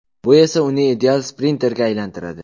Bu esa uni ideal sprinterga aylantiradi.